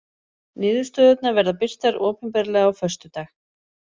Niðurstöðurnar verða birtar opinberlega á föstudag